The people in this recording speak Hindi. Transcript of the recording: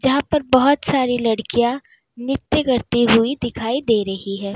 यहां पर बहोत सारी लड़कियां नृत्य करते हुई दिखाई दे रही है।